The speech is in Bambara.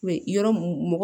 yɔrɔ mun